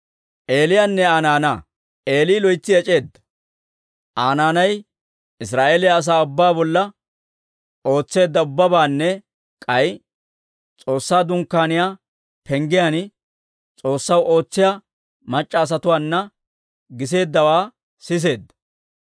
Eeli loytsi ec'eedda. Aa naanay Israa'eeliyaa asaa ubbaa bolla ootseedda ubbabaanne k'ay S'oossaa Dunkkaaniyaa penggiyaan S'oossaw ootsiyaa mac'c'a asatuwaana giseeddawaa siseedda.